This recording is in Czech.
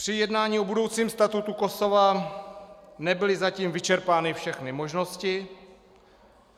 "Při jednání o budoucím statutu Kosova nebyly zatím vyčerpány všechny možnosti.